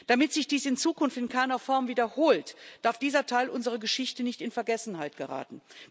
Damit sich dies in Zukunft in keiner Form wiederholt, darf dieser Teil unserer Geschichte nicht in Vergessenheit geraten.